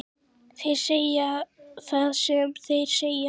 Þeir segja það sem þeir segja,